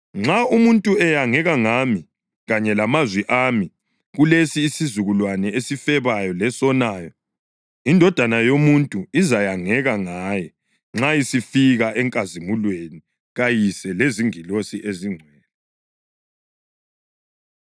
Nxa umuntu eyangeka ngami kanye lamazwi ami kulesi isizukulwane esifebayo lesonayo, iNdodana yoMuntu izakuyangeka ngaye nxa isifika enkazimulweni kaYise lezingilosi ezingcwele.”